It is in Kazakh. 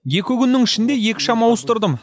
екі күннің ішінде екі шам ауыстырдым